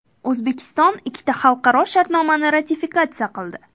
O‘zbekiston ikkita xalqaro shartnomani ratifikatsiya qildi.